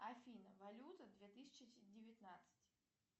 афина валюта две тысячи девятнадцать